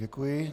Děkuji.